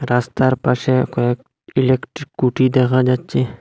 রাস্তার পাশে কয়েক ইলেকট্রিক কুটি দেখা যাচ্ছে।